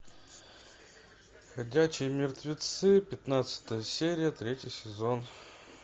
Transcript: ходячие мертвецы пятнадцатая серия третий сезон